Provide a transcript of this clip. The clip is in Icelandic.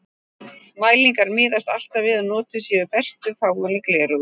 Mælingar miðast alltaf við að notuð séu bestu fáanleg gleraugu.